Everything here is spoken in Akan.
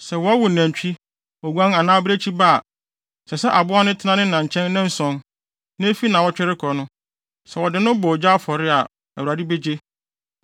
“Sɛ wɔwo nantwi, oguan anaa abirekyi ba a, ɛsɛ sɛ aboa no tena ne na nkyɛn nnanson. Na efi nnaawɔtwe rekɔ no, sɛ wɔde no bɔ ogya afɔre a, Awurade begye.